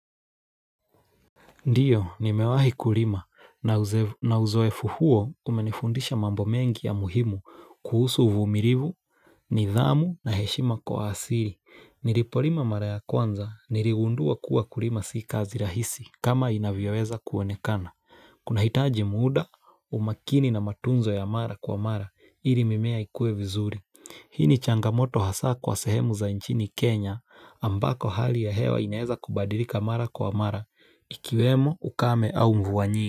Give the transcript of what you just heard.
Ndio, nimewahi kulima na uzoefu huo umenifundisha mambo mengi ya muhimu kuhusu uvumilivu, nidhamu na heshima kwa waasilii. Nilipolima mara ya kwanza, niligundua kuwa kulima sii kazi rahisi kama inavyoweza kuonekana. Kuna hitaji muda, umakini na matunzo ya mara kwa mara, ili mimea ikue vizuri. Hii ni changamoto hasaa kwa sehemu za nchini Kenya ambako hali ya hewa inaeza kubadirika mara kwa mara ikiwemo ukame au mvua nyingi.